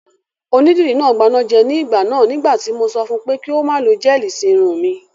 Onídìrí náà gbanájẹ ní ìgbà náà nígbà tí mo sọ fun pé kí ó má lo gẹ́ẹ̀lì sí irun mi